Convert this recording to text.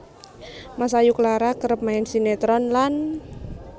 Masayu Clara kerep main sinetron lan